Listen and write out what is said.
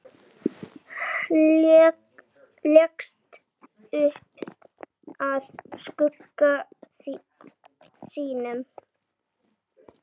Leggst upp að skugga sínum.